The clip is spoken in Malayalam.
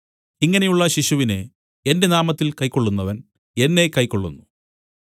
ഇങ്ങനെയുള്ള ശിശുവിനെ എന്റെ നാമത്തിൽ കൈക്കൊള്ളുന്നവൻ എന്നെ കൈക്കൊള്ളുന്നു